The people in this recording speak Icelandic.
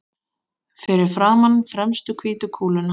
Fyrir framan fremstu hvítu kúluna.